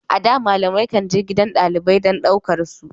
A da, malamai kan je gidajen dalibai don su ɗaukar su.